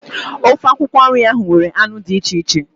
Ofe akwụkwọ nri ahụ nwere anụ dị iche iche